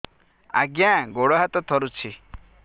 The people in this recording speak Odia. ଆଜ୍ଞା ଗୋଡ଼ ହାତ ଥରୁଛି